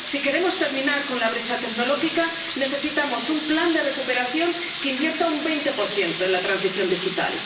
Si queremos terminar con la brecha tecnológica, necesitamos un plan de recuperación que invierta un 20 en la transición digital.